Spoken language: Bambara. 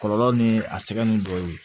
Kɔlɔlɔ ni a sɛbɛnni dɔ ye